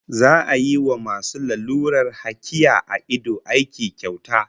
Za'a yi wa masu lalurar hakiya a ido aiki kyauta